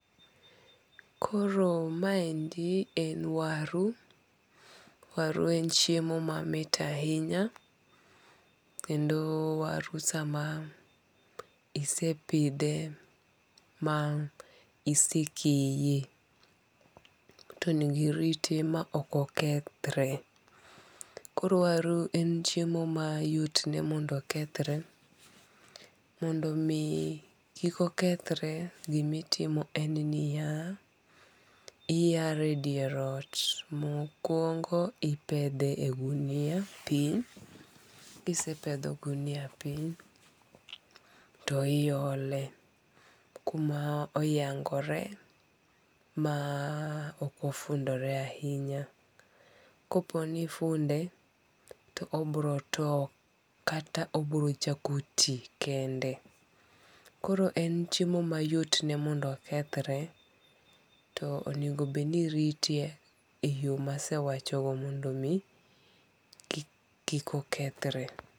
Koro maendi en waru. Waru en chiemo mamit ahinya. Kendo waru sama ise pidhe ma isekaye to onengo irite ma ok okethre. Koro waru en chiemo ma yot ne mondo okethre. Mondo mi kik okethre, gimitimo en niya, iyare e dier ot mokuongo ipedhe e gunia piny. Kisepedho gunia piny to iole kuma oyangore ma ok ofundore ahinya. Koponi ifunde, to obiro tow kata obiro chako ti kende. Koro en chiemo mayot ne mondo okethre to onego bed ni irite e yo masewachogo mondo mi kik okethre.